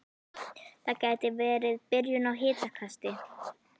Það gæti verið byrjun á hitakasti